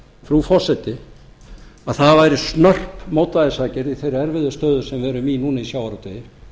frú forseti að það væri snörp mótvægisaðgerð í þeirri erfiðu stöðu sem við erum í núna í sjávarútvegi